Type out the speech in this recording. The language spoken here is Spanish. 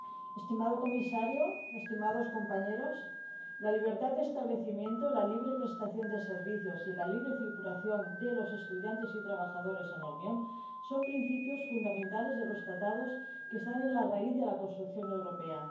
Señor presidente, estimado comisario, estimados compañeros, la libertad de establecimiento, la libre prestación de servicios y la libre circulación de los estudiantes y trabajadores en la Unión son principios fundamentales de los Tratados, que están en la raíz de la construcción europea.